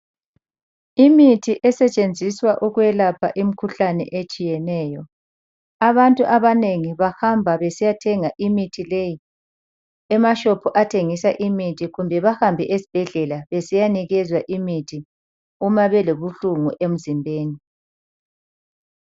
Imithi esetshenziswa ukwelapha imikhuhlane etshiyeneyo. Abantu abanengi bahamba besiyathenga imithi leyi emashopu athengisa imithi kumbe behambe esibhedlela besiyanikezwa imithi uma belobuhlungu emzimbeni.